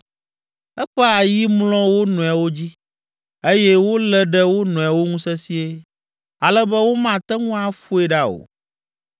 Eƒe ayi mlɔ wo nɔewo dzi eye wolé ɖe wo nɔewo ŋu sesĩe, ale be womate ŋu afoe ɖa o.